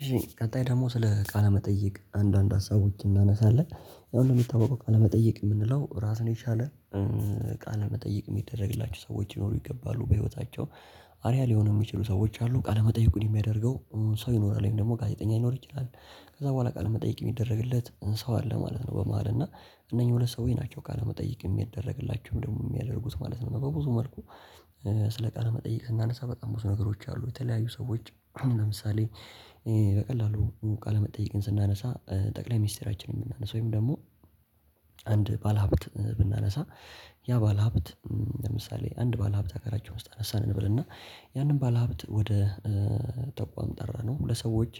እሺ ቀጣይ ደግሞ ስለ ቃለ መጠየቅ አንዳንድ ሀሳቦች እናነሳለን አሁን እንደሚታወቀው ቃለመጠየቅ የምንለው ራሱን የቻለ። ቃለ መጠይቅ የሚደረግላቸው ሰዎች ሊኖሩ ይገባሉ በህይወታቸው። አሪያ ሊሆን የሚችሉ ሰዎች አሉ ቃለመጠየቅ የሚያደርገው ሰው ይኖራል ወይም ደግሞ ጋዜጠኛ ይኖር ይችላል። ከዛ በኋላ ቃለ መጠየቅ የሚደረግለት ሰው አለ ማለት ነው። በመሃል እና እነኚህ ሁለት ሰዎች ናቸው ካለመጠየቅ የሚደረግላቸው ደግሞ የሚያደርጉት ማለት ነው። በብዙ መልኩ። ስለ ቃለ መጠይቅ ስናነሳ በጣም ብዙ ነገሮች አሉ የተለያዩ ሰዎች ለምሳሌ። በቀላሉ ቃለመጠየቅን ስናነሳ ጠቅላይ ሚኒስትራችንን ብናናነሳው ወይም ደግሞ አንድ ባለሀብት ብናነሳ። ያ ባለሀብት ለምሳሌ አንድ ባለሀብት አገራችን ውስጥ አነሳን እንበልና። ያንን ባለሀብት ወደ ተቋም ጠራነው ለሰዎች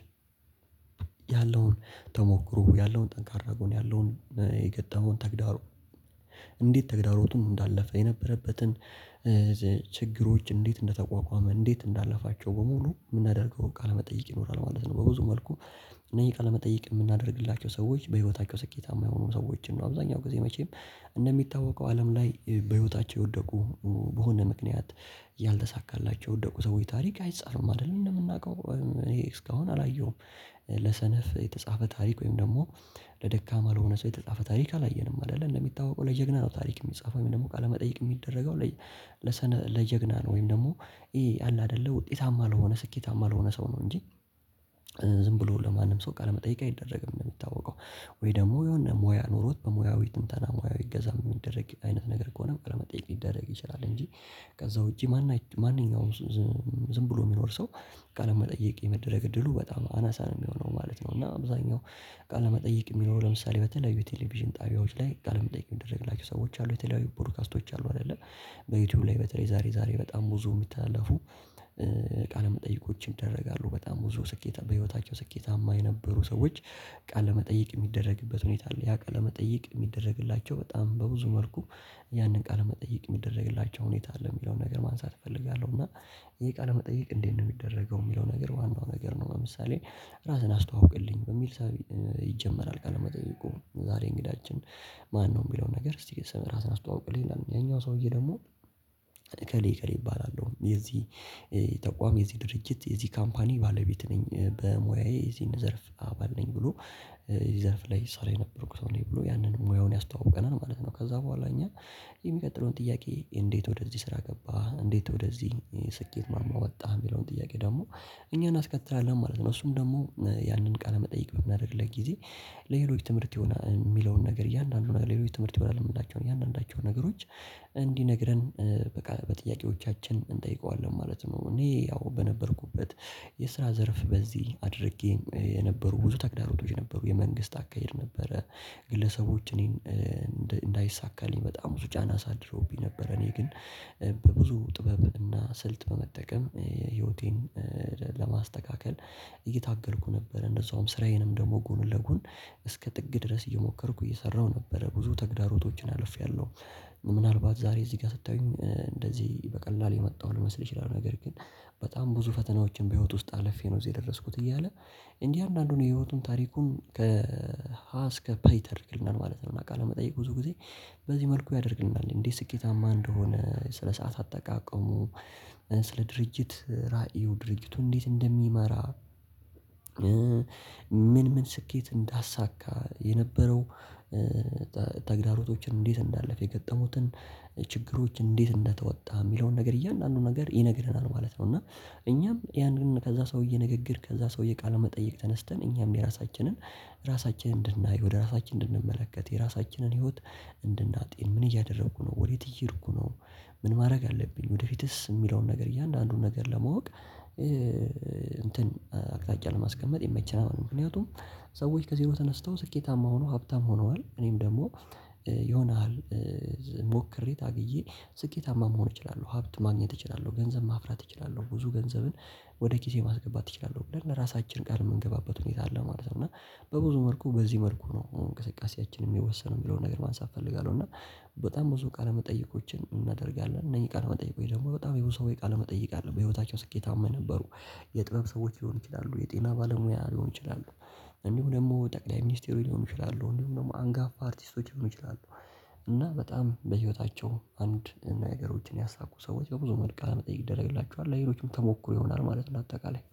ያለውን ተሞክሮ ያለውን ጠንካራ ጎን ያለውን የገጠመውን ተግዳሮ። እንዴት ተግዳሮቱን እንዳለፈ የነበረበትን። ችግሮች እንዴት እንደተቋቋመ እንዴት እንዳለፋቸው በሙሉ የምናደርገውን ቃለ መጠይቅ ይኖራል ማለት ነው። በብዙ መልኩ። እነዚህ ቃለመጠየቅ የምናደርግላቸው ሰዎች በህይወታቸው ስኬታማ የሆኑ ሰዎችን ነው አብዛኛው ጊዜ መቼም። እንደሚታወቀው አለም ላይ በህይወታቸው የወደቁ በሆነ ምክንያት ያልተሳካላቸው የወደቁ ሰዎች ታሪክ አይጻፍም አይደል? እንደምናውቀው እኔ እስካሁን አላየሁም። ለሰነፍ የተጻፈ ታሪክ ወይም ደግሞ ለደካማ ለሆነ ሰው የተጻፈ ታሪክ አላየንም። አይደለ እንደሚታወቀው ለጀግና ነው ታሪክ የሚጻፈው ወይም ደግሞ ቃለመጠየቅ የሚደረገው። ለጀግና ነው ወይም ደግሞ ይሄ አለ አይደለ ውጤታማ ለሆነ ስኬታማ ለሆነ ሰው ነው እንጂ። ዝም ብሎ ለማንም ሰው ቃለመጠየቅ አይደረግም ነው የሚታወቀው። ወይ ደግሞ የሆነ ሙያ ኑሮት በሙያዊ ትንተና ሙያዊ እገዛ የሚደረግ አይነት ነገር ከሆነ በቃ ለመጠየቅ ሊደረግ ይችላል እንጂ። ከዛ ውጪ ማን ማንኛውም ዝም ዝም ብሎ የሚኖር ሰው። ቃለመጠየቅ የመደረግ እድሉ በጣም አናሳ ነው የሚሆነው ማለት ነው። እና አብዛኛው። ቃለ መጠየቅ የሚኖረው ለምሳሌ በተለያዩ የቴሌቪዥን ጣቢያዎች ላይ ቃለ መጠየቅ የሚደረግላቸው ሰዎች አሉ የተለያዩ ፖድካስቶች አሉ አይደለ? በዩቲዩብ ላይ በተለይ ዛሬ ዛሬ በጣም ብዙ የሚተላለፉ። ቃለ መጠይቆችን ይደረጋሉ በጣም ብዙ ስኬት በህይወታቸው ስኬታማ የነበሩ ሰዎች። ቃለ መጠይቅ የሚደረግበት ሁኔታ አለ ያ ቃለ መጠይቅ የሚደረግላቸው በጣም በብዙ መልኩ። ያንን ቃለ መጠየቅ የሚደረግላቸው ሁኔታ አለ የሚለውን ነገር ማንሳት እፈልጋለሁ። እና ይሄ ቃለ መጠየቅ እንዴት ነው የሚደረገው የሚለው ነገር ዋናው ነገር ነው። ለምሳሌ ራስን አስተዋውቀልኝ በሚል ሰው ይጀመራል ቃለ መጠየቁ ዛሬ እንግዳችን። ማነው? የሚለውን ነገር እስቲ ራስህን አስተዋውቅልኝ ያኛው ሰውዬ ደግሞ። እከሌ እከሌ እባላለሁ። የዚህ ተቋም የዚህ ድርጅት የዚህ ካምፓኒ ባለቤት ነኝ። በሙያዬ የዚህን ዘርፍ አባል ነኝ ብሎ። የዚህ ዘርፍ ላይ እሷ ላይ ነበርኩት አለኝ ብሎ ያንን ሙያውን ያስተዋውቀናል ማለት ነው። ከዛ በኋላ እኛ። የሚቀጥለውን ጥያቄ እንዴት ወደዚህ ስራ ገባህ እንዴት ወደዚህ ስኬት ማማ ወጣህ የሚለውን ጥያቄ ደግሞ። እኛን እናስከትላለን ማለት ነው። እሱም ደግሞ ያንን ቃለ መጠይቅ በምናደርግልህ ጊዜ። ለሌሎች ትምህርት የሆነ የሚለውን ነገር እያንዳንዱ ነገር ለሌሎች ትምህርት የሆነ ነው የምናቸው እያንዳንዳቸው ነገሮች። እንዲነግረን በቃ በጥያቄዎቻችን እንጠይቀዋለን ማለት ነው። እኔ ያው በነበርኩበት የስራ ዘርፍ በዚህ አድርጌ የነበሩ ብዙ ተግዳሮቶች ነበሩ የመንግስት አካሄድ ነበረ። ግለሰቦች እኔን እንዳይሳካልኝ በጣም ብዙ ጫና አሳድሮብኝ ነበረ። እኔ ግን። በብዙ ጥበብ እና ስልት በመጠቀም ህይወቴን ለማስተካከል። እየታገልኩ ነበር። እንደዛውም ስራዬንም ደግሞ ጎን ለጎን። እስከ ጥግ ድረስ እየሞከርኩ እየሰራሁ ነበረ ብዙ ተግዳሮቶችን አልፌያለሁ። ምናልባት ዛሬ እዚህ ጋር ስታዩኝ እንደዚህ በቀላሉ የመጣሁ ልመስል ይችላል ነገር ግን። በጣም ብዙ ፈተናዎችን በህይወት ውስጥ አልፌ ነው እዚህ የደረስኩት እያለ። እንዲህ አንዳንዱን የህይወቱን ታሪኩን ከሀ እስከ ፐ ይተርክልናል ማለት ነው። ቃለ መጠየቅ ብዙ ጊዜ። በዚህ መልኩ ያደርግናል እንዴ ስኬታማ እንደሆነ ስለ ሰዓት አጠቃቀሙ። ስለ ድርጅት ራዕይው ድርጅቱ እንዴት እንደሚመራ። ምን ምን ስኬት እንዳሳካ የነበረው። ተግዳሮቶችን እንዴት እንዳለፈ የገጠሙትን። ችግሮች እንዴት እንደተወጣ የሚለውን ነገር እያንዳንዱን ነገር ይነግረናል ማለት ነው። እና። እኛም ያንን ከዛ ሰውዬ ንግግር ከዛ ሰውዬ ቃለ መጠየቅ ተነስተን እኛም የራሳችንን። ራሳችንን እንድናይ ወደ ራሳችን እንድንመለከት የራሳችንን ህይወት። እንድናጤን ምን እያደረኩ ነው ወዴት እየሄድኩ ነው። ምን ማድረግ አለብኝ ወደፊትስ የሚለውን ነገር እያንዳንዱን ነገር ለማወቅ። እንትን አቅጣጫ ለማስቀመጥ ይመቸናል ማለት ነው። ምክንያቱም። ሰዎች ከዜሮ ተነስተው ስኬታማ ሆኖ ሀብታም ሆነዋል እኔም ደግሞ ይሆናል። ሞክሬ ታግዬ። ስኬታማ መሆን እችላለሁ። ሀብት ማግኘት እችላለሁ። ገንዘብ ማፍራት እችላለሁ። ብዙ ገንዘብን። ወደ ኪሴ ማስገባት እችላለሁ። ብለን ለራሳችን ቃል የምንገባበት ሁኔታ አለ ማለት ነው። እና። በብዙ መልኩ በዚህ መልኩ ነው እንቅስቃሴያችንን የሚወሰነው የሚለውን ነገር ማንሳት እፈልጋለሁ። እና። በጣም ብዙ ቃለ መጠየቆችን እናደርጋለን። እነዚህ ቃለ መጠየቆች ደግሞ በጣም የሆኑ ሰው ወይ ቃል መጠይቅ አይደለም በህይወታቸው ስኬታማ የነበሩ። የጥበብ ሰዎች ሊሆን ይችላሉ የጤና ባለሙያ ሊሆን ይችላሉ። እንዲሁ ደግሞ ጠቅላይ ሚኒስቴሩ ሊሆኑ ይችላሉ እንዲሁም ደግሞ አንጋፋ አርቲስቶች ሊሆኑ ይችላሉ። እና በጣም በህይወታቸው አንድ ነገሮችን ያሳኩ ሰዎች በብዙ መልካ ለመጠየቅ ይደረግላቸዋል ለሌሎችም ተሞክሮ ይሆናል ማለት ነው። አጠቃላይ